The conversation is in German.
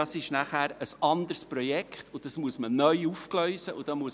Denn es wäre ein anderes Projekt, das neu aufgegleist werden müsste.